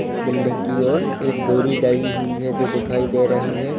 Building की ओर एक बोरी डली हुई है जो दिखाई दे रही है।